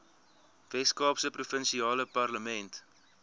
weskaapse provinsiale parlement